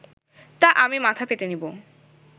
তা আমি মাথা পেতে নেবো